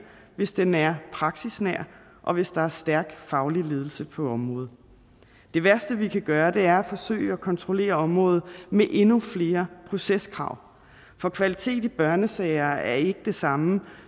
hvis den er praksisnær og hvis der er en stærk faglig ledelse på området det værste vi kan gøre er at forsøge at kontrollere området med endnu flere proceskrav for kvalitet i børnesager er ikke det samme